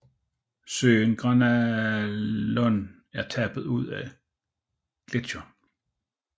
Søen Granalón er tappet ud af gletsjeren